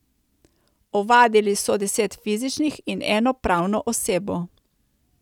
Ovadili so deset fizičnih in eno pravno osebo.